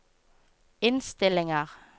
innstillinger